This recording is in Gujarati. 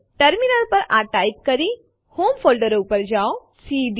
આપણે એ પણ જોવા ઈચ્છતા હોઈએ કે શું ફાઈલ છેલ્લી આવૃત્તિ પછી બદયાલેય છે કે નહી